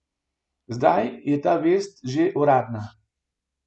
Zdaj je ta vest že uradna.